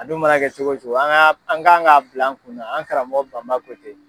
A dun mana kɛ cogo cogo an ka an k'an ka bila an kunna an karamɔgɔ Bama ko ten.